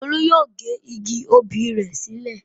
Olú yóò gé igi obì rẹ̀ sílẹ̀.